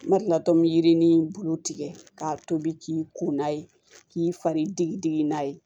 N ma deli latmi bulu tigɛ k'a tobi k'i kunna ye k'i fari digi digi n'a ye